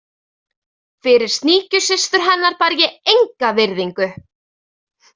Fyrir sníkjusystur hennar bar ég enga virðingu.